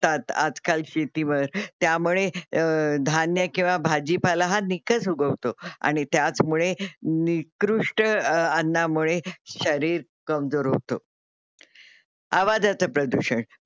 आज काल शेतीवर. त्यामुळे धान्य अह किंवा भाजीपाला हा निकस उगवतो आणि त्याचमुळे अं निकृष्ट अन्नामुळे शरीर कमजोर होतो. आवाजाच प्रदूषण असतात